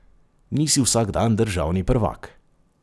Nisi vsak dan državni prvak!